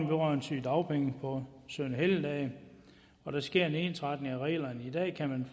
vedrørende sygedagpenge på søn og helligdage hvor der sker en ensretning af reglerne i dag kan man